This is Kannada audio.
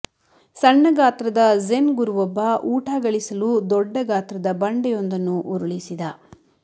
ಸಣ್ಣ ಗಾತ್ರದ ಝೆನ್ ಗುರುವೊಬ್ಬ ಊಟ ಗಳಿಸಲು ದೊಡ್ಡ ಗಾತ್ರದ ಬಂಡೆಯೊಂದನ್ನು ಉರುಳಿಸಿದ